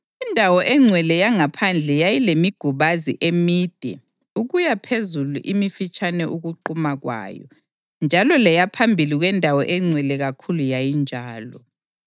Indawo engcwele yangaphandle yayilemigubazi emide ukuyaphezulu imifitshane ukunquma kwayo njalo leyaphambili kweNdawo eNgcwele kakhulu yayinjalo.